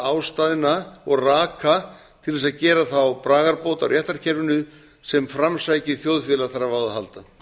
ástæðna og raka til að gera þá bragarbót á réttarkerfinu sem framsækið þjóðfélag þarf á að halda